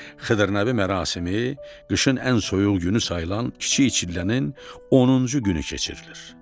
Xıdır Nəbi mərasimi qışın ən soyuq günü sayılan kiçik çillənin 10-cu günü keçirilir.